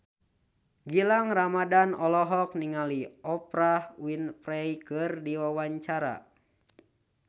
Gilang Ramadan olohok ningali Oprah Winfrey keur diwawancara